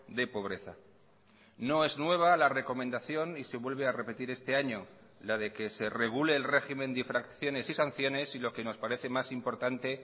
de pobreza no es nueva la recomendación y se vuelve a repetir este año la de que se regule el régimen de infracciones y sanciones y lo que nos parece más importante